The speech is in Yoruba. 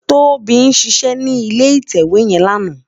Tobi ṣiṣè ni ilé itèwé yèn làná